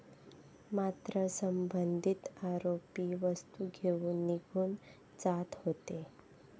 मात्र, संबंधित आरोपी वस्तू घेऊन निघून जात होते.